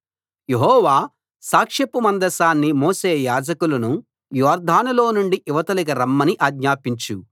యెహోవా సాక్ష్యపు మందసాన్ని మోసే యాజకులను యొర్దానులో నుండి ఇవతలికి రమ్మని ఆజ్ఞాపించు